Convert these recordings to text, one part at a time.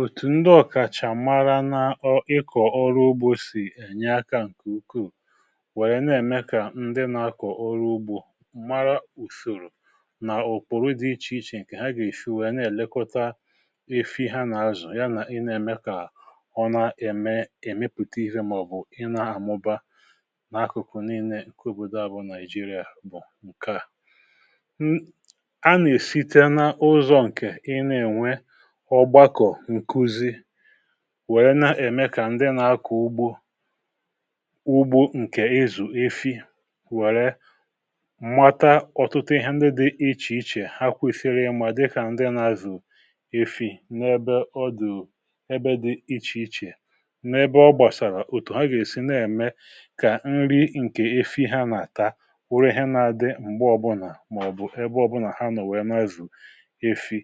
òtù ndị ọkàchà mara n’ọ ịkọ̀ ọrụ ugbȯ sì ènye akȧ ǹkè ukwuù wèrè na-ème kà ndị nȧ-akọ̀ ọrụ ugbȯ um mara ùsòrò nà òkpòrò dị ichè ichè ǹkè ha gà-èsi wèrè na-èlekọta efi ha nà-azù ya. nà ị na-ème kà ọ na-ème èmepùta ihe màọ̀bụ̀ ị nȧ-àmụba n’akụkụ n’inee ǹkè òbòdò abụọ nàịjiria. bụ̀ ǹkè a a nà-èsi te na ụzọ̀ ǹkè ị na-ènwe, wèrè na-ème kà ndị na-akụ̀ ugbo ụgbọ ǹkè ezù efi wèrè mmata ọ̀tụtụ ihe ndị dị̇ ichè ichè ha kwesiri ịmà dịkà ndị nà-azụ̀ efi. n’ebe ọ dụ̀ ebe dị̇ ichè ichè um, n’ebe ọ gbàsàrà òtù ha gà-èsi na-ème kà nri ǹkè efi ha nà-àta urù, ihe nà-àdị m̀gbe ọbụnà màọbụ̀ ebe ọbụnà ha nọ̀ wèe na-ezù efi.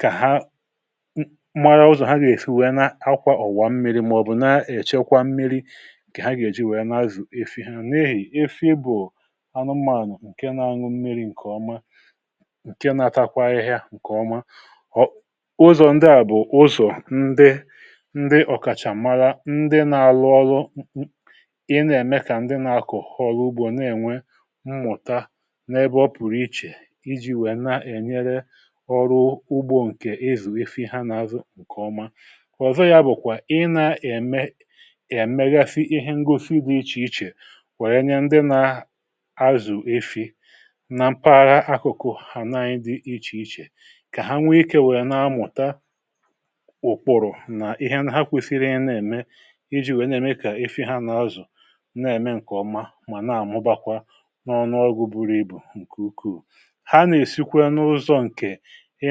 kà ha mara ụzọ̀ ha gà-èfi wee n’akwa ọ̀wà mmiri̇ màọ̀bụ̀ nà-èchekwa mmiri̇ ǹkè ha gà-èji wee n’azụ̀ efi ha na-ehì efi bụ̀ anụmànụ̀ ǹke na-anwụ mmiri̇ ǹkè ọma, ǹke na-atakwa ahịhịa ǹkè ọma. ọ ụzọ̀ ndị à bụ̀ ụzọ̀ ndị ǹdị ọ̀kàchà mara, ndị na-alụ ọlụ ị na-ème kà ndị na-akọ̀ họ ọlụ ugbo na-enwe mmụ̀ta n’ebe ọ pụrụ ichè iji̇ wee na-enyere ọrụ ugbo ǹkè ezù efi ha nà-azụ ǹkè ọma. kòzò ya bụ̀kwà ị nà-ème è megasi ihe ngosi dị ichè ichè wèrè nye ndị na-azù efi na mpaghara akụkụ hà naanyị dị ichè ichè, kà ha nwee ikė wèrè nà-amùta ụkpụrụ̀ um nà ha kwesiri. ihe na-ème iji̇ wèe na-ème kà efi ha nà-azụ na-ème ǹkè ọma mà na-àmụbakwa n’ọnụ ọgụ buru ibù. ǹkè ukwuù ha nà-èsikwa n’ụzọ̇ ǹkè ị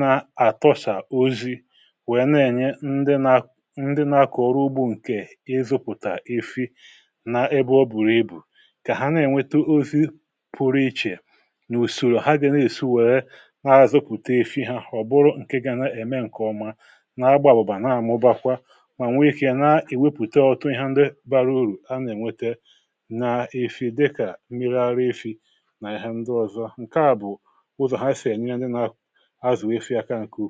na-àtọchà ozi̇ wèe na-ènye ndị nȧ, ndị nȧkọ̀ ọrụ ugbȯ ǹkè ịzụ̇pụ̀tà efi n’ebe ọ bụ̀rụ ibù, kà ha na-ènweta ozi pụrụ ichè n’ùsòrò ha gà ne èsù wère na-azụ̇pụ̀ta efi hȧ. ọ̀ bụrụ ǹke ga na-ème ǹkèọma na-agba àbụ̀bà, na-amụ̇bakwa mà nwèe kà ya na-èwepùta ọ̀tụ ihe ndị bara urù a nà-ènwete n’efi̇, dịkà mmiri arụ̇ efi nà ihe ndị ọzọ. ǹke à bụ̀ ụzọ̀ ha sì ènye ndị nȧ ǹkè ọ̀zọ àhụ um nà-àrụ nwefu ụlọ̀gwụ̀ azụ̀, nwefu àkà ǹkè ukù.